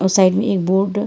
और साइड में एक बोर्ड --